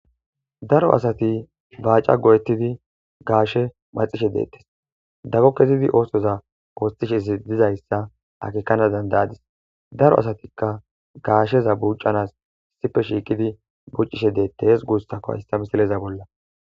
Daro asati bacan go'etidi gashe maxishe de'etes dago kezidi osoza othishe dizaysa akekana dandadis daro asatika gasheza bucanas issippe shiqidi bucishe detes gusako haysa misileza bolla.